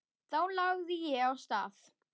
Þá lagði ég af stað.